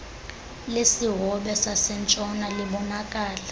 lesihobe sasentshona libonakala